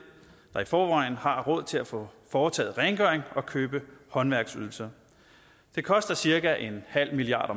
der i forvejen har råd til at få foretaget rengøring og købe håndværksydelser det koster cirka en halv milliard